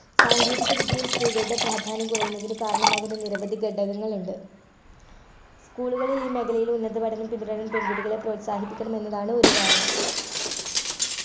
സാങ്കേതികവിദ്യയിൽ സ്ത്രീകളുടെ പ്രാധാന്യം കുറയുന്നതിന് കാരണമാകുന്ന നിരവധി ഘടകങ്ങളുണ്ട് school കളിൽ ഈ മേഖലയിൽ ഉന്നത പഠനം പിന്തുടരാൻ പെൺകുട്ടികളെ പ്രോത്സാഹിപ്പിക്കണം എന്നതാണ് ഒരു കാരണം